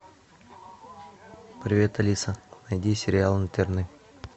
привет алиса найди сериал интерны